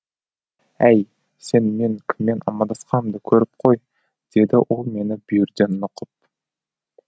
әй сен мен кіммен амандасқанымды көріп қой деді ол мені бүйірден нұқып